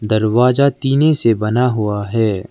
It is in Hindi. दरवाजा टीने से बना हुआ है।